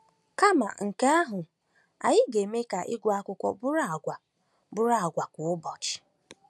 Kama nke ahụ, anyị ga-eme ka ịgụ akụkọ bụrụ àgwà bụrụ àgwà kwa ụbọchị.